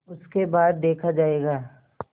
उसके बाद देखा जायगा